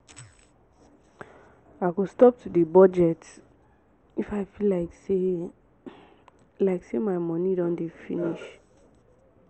i go stop to dey budget if i feel like say like say my money don dey finish